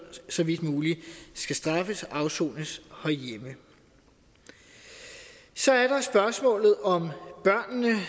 så vidt muligt skal straffes og afsone herhjemme så er der spørgsmålet om børnene